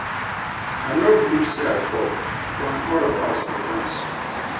I no believe say I fall wen all of us dey dance